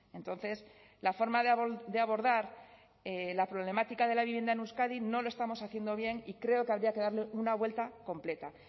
entonces la forma de abordar la problemática de la vivienda en euskadi no lo estamos haciendo bien y creo que habría que darle una vuelta completa